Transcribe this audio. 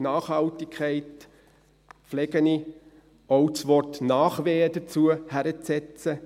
Zu Nachhaltigkeit pflege ich auch das Wort «Nachwehen» dazuzusetzen.